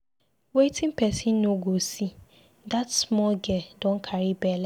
Wetin person no go see! dat small girl Don carry bele.